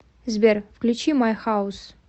сбер включи май хаус